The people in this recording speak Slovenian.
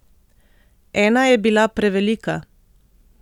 Ena je bila prevelika.